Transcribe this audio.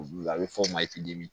Olu a bɛ f'o ma